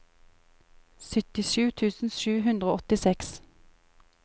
syttisju tusen sju hundre og åttiseks